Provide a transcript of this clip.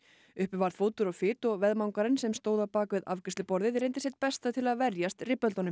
uppi varð fótur og fit og veðmangarinn sem stóð bak við afgreiðsluborðið reyndi sitt besta til að verjast